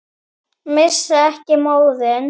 Missa ekki móðinn.